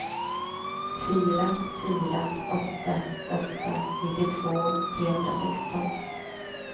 fyra fyra åtta åtta nittiotvå trehundrasexton